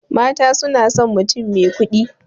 Mata sunason mutum mai kuɗi